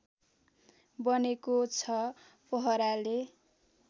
बनेको छ पहराले